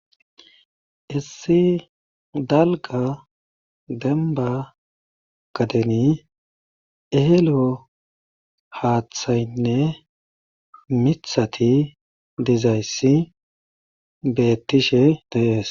Issi dalgga dembba gadeni eelo haathaynne mithati dizayssi beettishe de7ees.